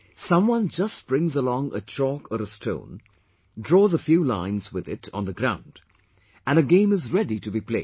Someone just brings along a chalk or a stone, draws a few lines with it on the ground and a game is ready to be played